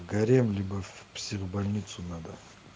гарем любовь в психбольницу надо